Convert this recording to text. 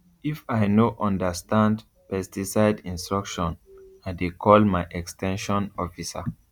if i no understand pesticide instruction i dey call my ex ten sion officer